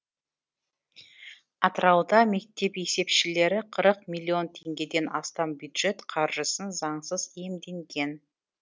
атырауда мектеп есепшілері қырық миллион теңгеден астам бюджет қаржысын заңсыз иемденген